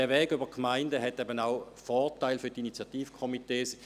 Der Weg über die Gemeinden hat auch Vorteile für die Initiativkomitees.